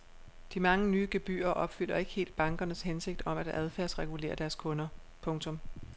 De mange nye gebyrer opfylder ikke helt bankernes hensigt om at adfærdsregulere deres kunder. punktum